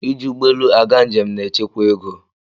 Iji ụgbọelu aga njem na-echekwa oge.